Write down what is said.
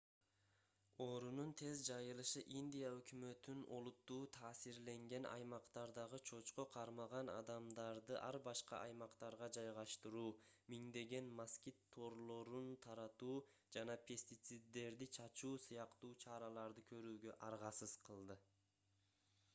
оорунун тез жайылышы индия өкмөтүн олуттуу таасирленген аймактардагы чочко кармаган адамдарды ар башка аймактарга жайгаштыруу миңдеген москит торлорун таратуу жана пестициддерди чачуу сыяктуу чараларды көрүүгө аргасыз кылды